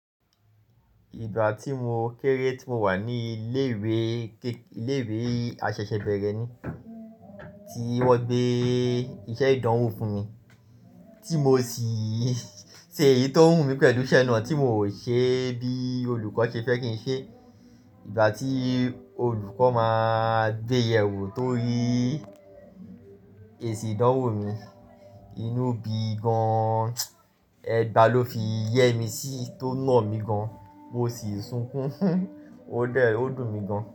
Ìgbà tí mo kéré tí mo wà ní ilé ìwé, ilé ìwé aṣẹ̀ṣẹ̀ bẹrẹ ni tí wọ́n gbé iṣẹ́ ìdánwò fún mi tí mo sì ṣe èyí tó wù mí pẹ̀lú iṣẹ́ náà tí mo ò ṣe bí olùkọ́ ṣe fẹ́ kí n ṣe. Ìgbà tí olùkọ́ máa gbé yewo tó rí èsì ìdánwò mi, inú bíi gan, ẹgba ló fi yẹ́ mi sí tó nà mí gan, mo sì sunkún, ó dẹ̀, ó dùn mí gan.